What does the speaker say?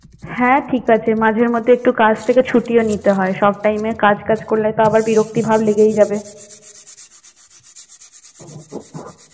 হ্যাঁ ঠিক আছে মাঝে মধ্যে একটু কাজ থেকে ছুটিও নিতে হয়, সব time এ কাজ কাজ করলে তো আবার বিরক্তি ভাব লেগেই যাবে।